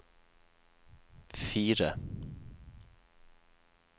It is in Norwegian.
fire